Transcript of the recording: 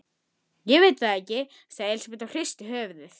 Konan brosir ekki.